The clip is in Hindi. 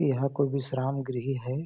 यह कोई विश्राम गृह है।